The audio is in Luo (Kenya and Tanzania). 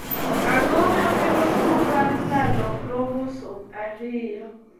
Ang'o makelo tuwo mar lalo kromosom ariyo?